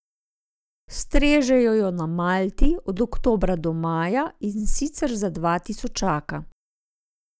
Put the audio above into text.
Strežejo jo na Malti od oktobra do maja, in sicer za dva tisočaka.